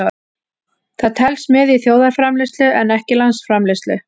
Það telst með í þjóðarframleiðslu en ekki landsframleiðslu.